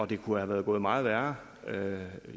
det kunne være gået meget værre